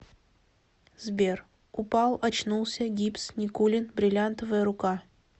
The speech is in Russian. сбер упал очнулся гипс никулин бриллиантовая рука